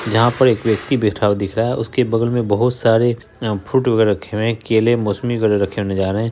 जहाँ पर एक व्यक्ति बैठा हुआ दिख रहा है उसके बगल में बहुत सारे फ्रूट वैगरा रखे हुए हैं केले मौसमी वैगरा रखे नजर रहे हैं।